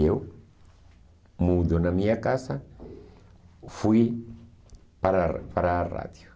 E eu, mudo na minha casa, fui para a para a rádio.